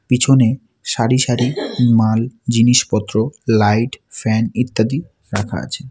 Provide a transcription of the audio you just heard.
পিছনে সারি সারি মাল জিনিসপত্র লাইট ফ্যান ইত্যাদি রাখা আছে।